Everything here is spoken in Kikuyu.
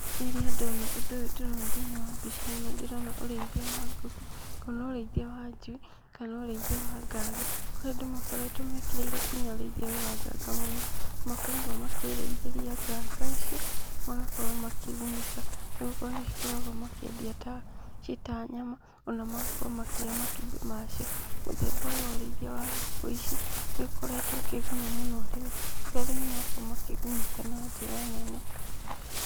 Rĩrĩa ndona ũndũ ũyũ ndĩrona thĩiniĩ wa mbica ĩno, ndĩrona ũrĩithia wa ngũkũ, ngona ũrĩithia wa njui kana ũrĩithia wa nganga, kũrĩa andũ makoretwo mekĩrĩire nginya ũrĩithia ũyũ wa nganga mũno, nĩ makoragwo makĩĩrĩithĩria nganga ici, magakorwo makĩgunĩka, nĩ gũkorwo nĩ cikoragwo makĩendia ci ta nyama, ona magakorwo makioya matumbĩ macio, mũthemba ũyũ wa ũrĩithia wa ngũkũ ici nĩ ũkoretwo ũkĩguna mũno arĩmi, na arĩmi magakorwo makĩgunĩka na njĩra nene.